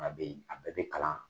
A bɛ yz, a bɛɛ bɛ kalan.